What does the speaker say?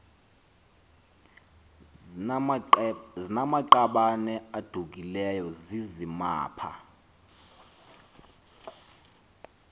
zinamaqabane adukileyo zizimapha